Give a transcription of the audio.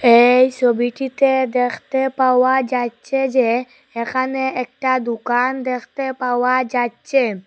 এই সবিটিতে দেখতে পাওয়া যাচ্চে যে এখানে একটা দোকান দেখতে পাওয়া যাচ্চে।